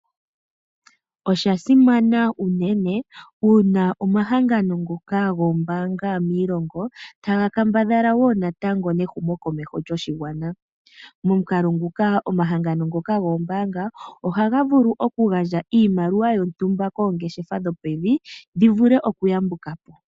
Osha simana unene uuna omahangano ngoka goombaanga miilongo, ta ga kambadhala wo natango nehumokomeho lyoshigwana. Momukalo nguka, omahangano ngoka goombaanga oha ga vulu oku gandja iimaliwa yontumba koongeshefa dhooevi, dhi vule oku yambuka po.